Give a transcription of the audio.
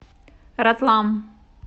ратлам